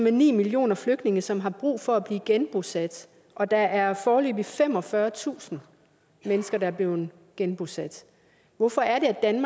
en millioner flygtninge som har brug for at blive genbosat og der er foreløbig femogfyrretusind mennesker der er blevet genbosat hvorfor er det